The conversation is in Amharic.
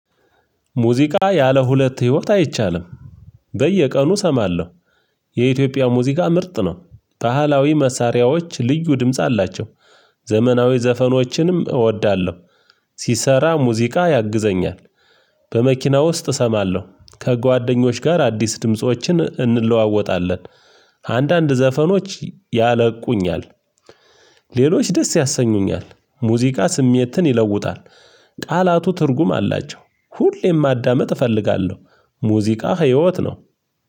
ሙዚቃ ያለ ሁለት ህይወት አይቻልም። በየቀኑ እሰማለሁ። የኢትዮጵያ ሙዚቃ ምርጥ ነው። ባህላዊ መሳሪያዎች ልዩ ድምጽ አላቸው። ዘመናዊ ዘፈኖችንም እወዳለሁ። ሲሰራ ሙዚቃ ያግዘኛል። በመኪና ውስጥ እሰማለሁ። ከጓደኞች ጋር አዲስ ድምፆችን እንለዋወጣለን። አንዳንድ ዘፈኖች ያለቁኛል። ሌሎች ደስ ያሰኙኛል። ሙዚቃ ስሜትን ይለውጣል። ቃላቱ ትርጉም አላቸው። ሁሌም ማዳመጥ እፈልጋለሁ። ሙዚቃ ህይወት ነው።